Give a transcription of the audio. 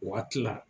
Waati la